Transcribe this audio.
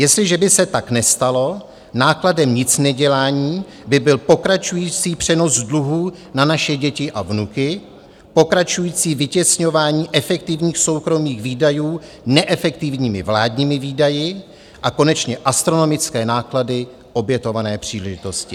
Jestliže by se tak nestalo, nákladem nicnedělání by byl pokračující přenos dluhů na naše děti a vnuky, pokračující vytěsňování efektivních soukromých výdajů neefektivními vládními výdaji a konečně astronomické náklady obětované příležitosti.